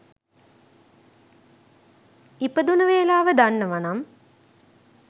ඉපදුන වෙලාව දන්නවනම්